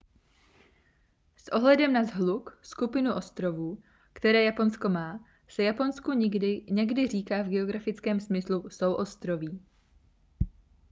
s ohledem na shluk/skupinu ostrovů které japonsko má se japonsku někdy říká v geografickém smyslu souostroví